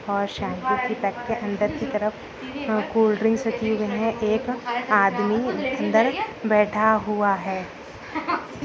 और शैम्पू की पैकेट अंदर की तरफ कोल्ड्रिंग्स रखे हुए हैं (है) एक आदमी अंदर बैठा हुआ है।